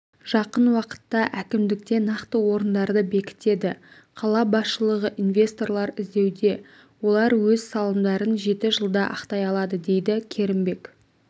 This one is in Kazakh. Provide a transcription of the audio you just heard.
жақын уақытта әікмдікте нақты орындарды бекітеді қала басшылығы инвесторлар іздеуде олар өз салымдарын жеті жылда ақтай алады дейді керімбек